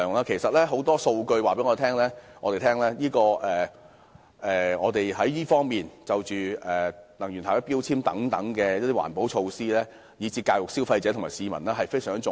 其實，很多數據都告訴我們，能源標籤等環保措施，以至教育消費者和市民，均非常重要。